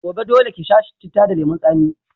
Gobe, dole ki sha citta da lemun tsami.